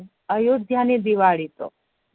અયોધ્યાની દિવાળી તો